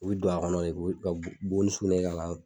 U bi don a kɔnɔ de, ka bo ni sugunɛ kɛ ka